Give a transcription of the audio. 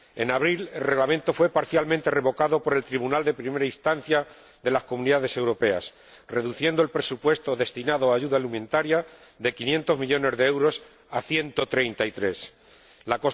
En abril el Reglamento fue parcialmente revocado por el Tribunal de Primera Instancia de las Comunidades Europeas, reduciendo el presupuesto destinado a ayuda alimentaria de 500 millones de euros a 133 millones.